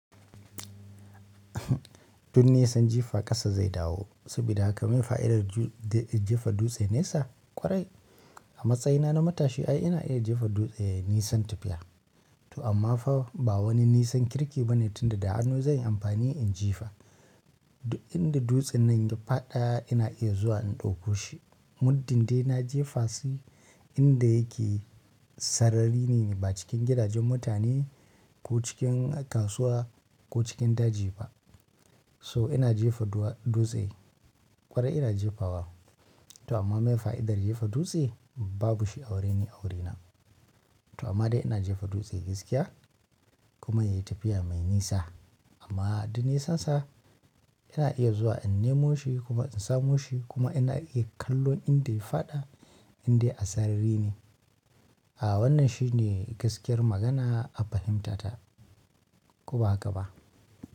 Duk nisan jifa kasa zai dawo. Saboda haka meye fa'idar jefa dutse nesa? Kwarai, a matsayina na matashi ai ina iya jefa dutse nisan tafiya. To amma fa ba wani nisan kirki bane tunda da hannu zan yi amfani in jifa. Inda dutsen nan ya faɗa ina iya zuwa in ɗauko shi. Muddin dai na jefa shi inda yake sarari ne, ba cikin gidajen mutane ko cikin kasuwa ko cikin daji ba. So ina jefa dutse? Kwarai ina jefa wa. To amma meye fa'idar jefa dutse? Babu shi a wuri-- ni a wuri na to amma dai ina jefa dutse gaskiya kuma ya yi tafiya mai nisa. Amma duk nisansa ina iya zuwa in nemo shi kuma in samo shi kuma ina iya kallon inda ya faɗa indai a sarari ne. A wannan shine gaskiyar magana a fahimtata. Ko ba haka ba?